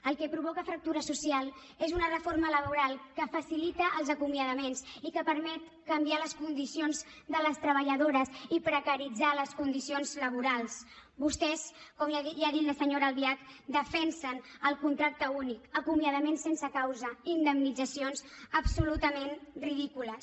el que provoca fractura social és una reforma laboral que facilita els acomiadaments i que permet canviar les condicions de les treballadores i precaritzar les condicions laborals vostès com ja ha dit la senyora albiach defensen el contracte únic acomiadament sense causa indemnitzacions absolutament ridícules